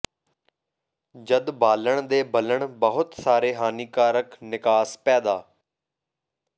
ਜਦ ਬਾਲਣ ਦੇ ਬਲਨ ਬਹੁਤ ਸਾਰੇ ਹਾਨੀਕਾਰਕ ਿਨਕਾਸ ਪੈਦਾ